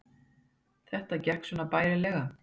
Það gekk svona bærilega